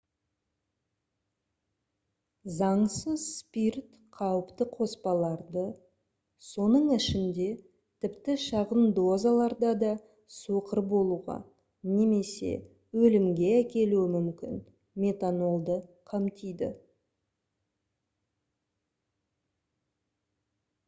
заңсыз спирт қауіпті қоспаларды соның ішінде тіпті шағын дозаларда да соқыр болуға немесе өлімге әкелуі мүмкін метанолды қамтиды